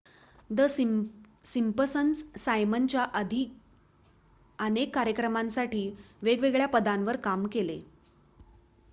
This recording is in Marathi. द सिम्पसन्स सायमनच्या आधी अनेक कार्यक्रमांसाठी वेगवेगळ्या पदांवर काम केले